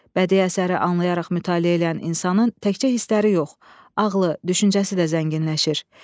Bədii əsəri anlayaraq mütaliə edən insanın təkcə hissləri yox, ağlı, düşüncəsi də zənginləşir.